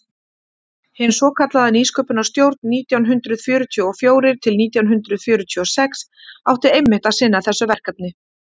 hin svokallaða nýsköpunarstjórn nítján hundrað fjörutíu og fjórir til nítján hundrað fjörutíu og sex átti einmitt að sinna þessu verkefni